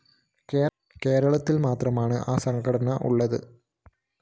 കേരളത്തില്‍ മാത്രമാണ് ആ സംഘടനയുള്ളത്